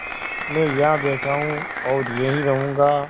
मैं यहाँ बैठा हूँ और यहीं रहूँगा